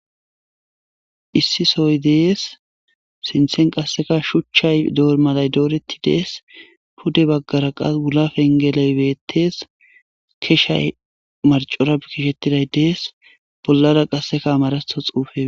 Issi sohoy de'es sinthen qasika shuchcha dormay dooretides pude bagara qase wula fenge beetes keshay marćora putihetiday dees bollara qaseka Amaratho xuufe.